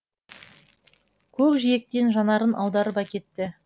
көк жиектен жанарын аударып әкетті